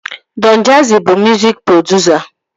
Dọn Jazzi bụ mụzik produsa